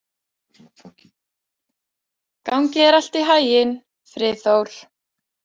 Gangi þér allt í haginn, Friðþór.